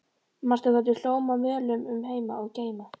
Manstu hvernig við hlógum og möluðum um heima og geima?